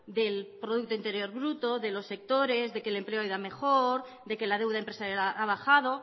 del producto interior bruto de los sectores de que el empleo ha ido a mejor de que la deuda empresarial ha bajado